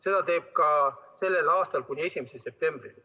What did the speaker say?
Seda teeb ta ka sellel aastal kuni 1. septembrini.